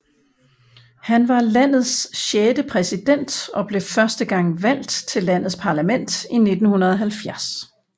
Han var landets sjette præsident og blev første gang valgt til landets parlament i 1970